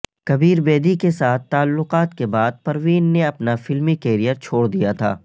کبیر بیدی کے ساتھ تعلقات کے بعد پروین نے اپنا فلمی کریئر چھوڑ دیا تھا